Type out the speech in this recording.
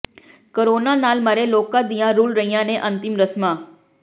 corona ਨਾਲ ਮਰੇ ਲੋਕਾਂ ਦੀਆਂ ਰੁਲ ਰਹੀਆਂ ਨੇ ਅੰਤਿਮ ਰਸਮਾਂ